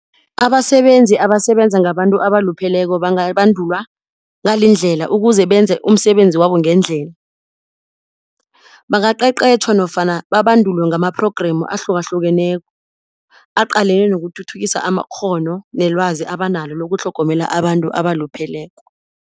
Abasebenzi abasebenza ngabantu abalupheleko bangabandulwa ngalindlela ukuze benze umsebenzi wabo ngendlela. Bangaqeqeshwa nofana babandulwe ngama-program ahlukahlukeneko aqalene nokuthuthukisa amakghono nelwazi abanalo ukutlhogomela abantu abalupheleko.